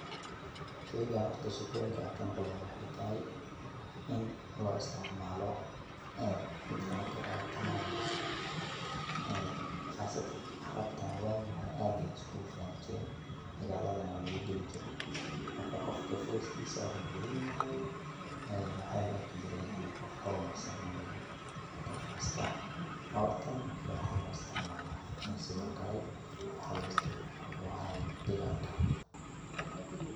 Sheygan horta sheekooyinka an kamaqli waxay tahay in lo istacmalo dadka marki orod tamayaan qasataan carabtana wagi hore aad ayay iskugu fani jiri dagaladhan walugu gali jiraay marka qoofka fariskisa orad badhiin aya waxa laarki jire qoof horumarsan inu yahay marka faraska orad taan iyo waxa loistacmala dagalka.